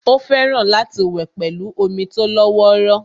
Ó fẹ́ràn láti wẹ̀ pẹ̀lú omi tó lọ́wọ́rọ́